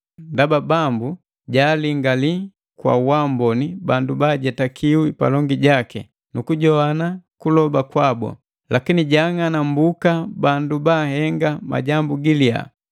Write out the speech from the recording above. Ndaba Bambu jaalingali kwa waamboni bandu baajetakiwi palongi jaki, nukujoane kuloba kwabu. Lakini jaang'anambuka bandu baahenga majambu giliya.”